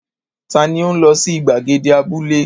Ta ni ó ń lọ sí ìgbàgede abúlé?